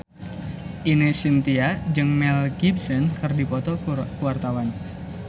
Ine Shintya jeung Mel Gibson keur dipoto ku wartawan